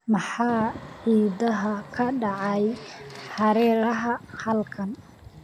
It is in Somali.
maxaa ciidaha ka dhacaya hareeraha halkan